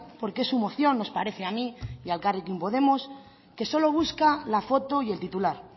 por qué su moción nos parece a mí y a elkarrekin podemos que solo busca la foto y el titular